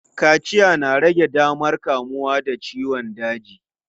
Kaciya na rage damar kamuwa da ciyon daji.